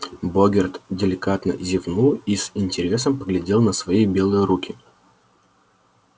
богерт деликатно зевнул и с интересом поглядел на свои белые руки